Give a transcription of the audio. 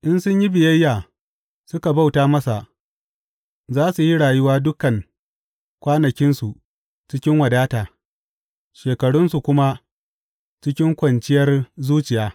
In sun yi biyayya suka bauta masa, za su yi rayuwa dukan kwanakinsu cikin wadata shekarunsu kuma cikin kwanciyar zuciya.